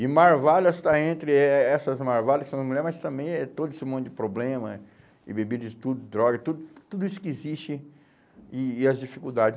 E Marvadas está entre eh essas Marvadas, que são as mulheres, mas também é todo esse monte de problema, e bebidas, tudo, drogas, tudo, tudo isso que existe, e e as dificuldade.